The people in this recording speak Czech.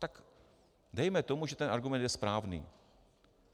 Tak dejme tomu, že ten argument je správný.